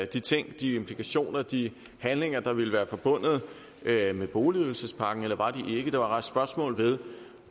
de ting de implikationer de handlinger der vil være forbundet med boligydelsespakken eller var de ikke der var rejst spørgsmål ved